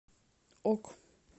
ок